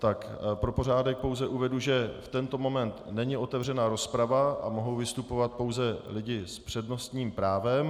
Tak pro pořádek pouze uvedu, že v tento moment není otevřena rozprava a mohou vystupovat pouze lidé s přednostním právem.